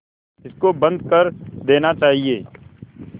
इसको बंद कर देना चाहिए